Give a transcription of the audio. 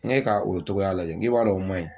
N k'e ka o cogoya lajɛ n k'i b'a dɔn man ɲi